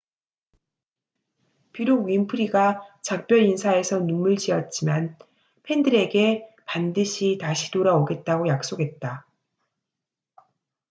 비록 윈프리가 작별 인사에서 눈물지었지만 팬들에게 반드시 다시 돌아오겠다고 약속했다